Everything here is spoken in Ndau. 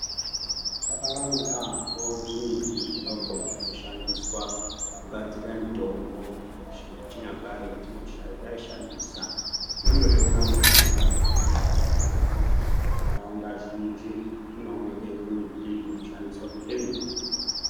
Zvakawanda yaambo zvimiti zvidoko zvinoshandiswa kugadzira mitombo yechinyakare yetaishandisa. Tinondozviona muntaraunda mwetinogara umwomwo. Nharaunda zhinji munooneke zvimiti zvinoshandiswa kuite mitombo.